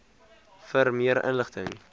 vir meer inligting